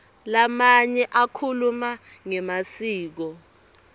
lamanye akhuluma ngemasiko